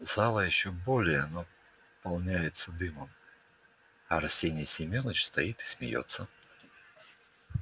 зала ещё более наполняется дымом а арсений семёныч стоит и смеётся